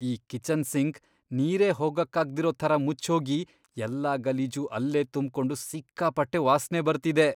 ಈ kitchen sink ನೀರೇ ಹೋಗಕ್ಕಾಗ್ದಿರೋ ಥರ ಮುಚ್ಹೋಗಿ ಎಲ್ಲ ಗಲೀಜೂ ಅಲ್ಲೇ ತುಂಬ್ಕೊಂಡು ಸಿಕ್ಕಾಪಟ್ಟೆ ವಾಸ್ನೆ ಬರ್ತಿದೆ.